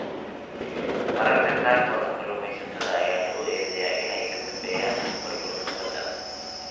Mararka qaarkood, kalluumaysatada ayaa lagu eedeeyaa inay ka dambeeyaan burburka badda.